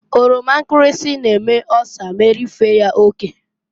Oroma nkirisi na-eme ọsa m'erifee ya oke.